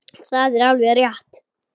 Það er alveg rétt.